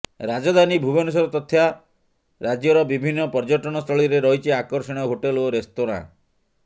ରାଜଧାନୀ ଭୁବନେଶ୍ୱର ତଥା ରାଜ୍ୟର ବିଭିନ୍ନ ପର୍ଯ୍ୟଟନସ୍ଥଳୀରେ ରହିଛି ଆକର୍ଷଣୀୟ ହୋଟେଲ ଓ ରେସ୍ତୋରାଁ